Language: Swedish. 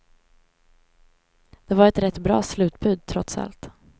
Det var ett rätt bra slutbud, trots allt.